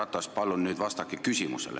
Härra Ratas, palun nüüd vastake küsimustele!